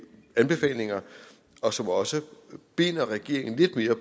anbefalingerne og som også binder regeringen lidt mere